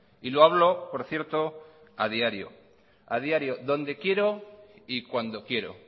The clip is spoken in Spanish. y lo hablo por cierto a diario donde quiero y cuando quiero